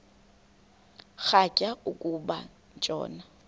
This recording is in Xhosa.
rhatya uku tshona